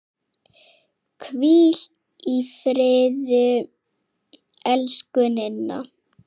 Hvíl í friði, elsku Ninna.